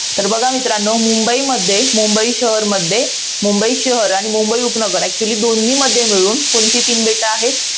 तर बघा मित्रांनो, मुंबईमध्ये मुंबई शहरमध्ये, मुंबई शहर आणि मुंबई उपनगर actually दोन्ही मध्ये मिळून कोणती तीन बेटं आहेत?